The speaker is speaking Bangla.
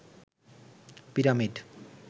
পিরামিড